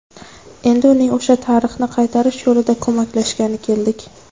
Endi uning o‘sha tarixni qaytarish yo‘lida ko‘maklashgani keldik.